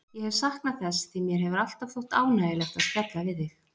Ég hef saknað þess, því mér hefur alltaf þótt ánægjulegt að spjalla við þig.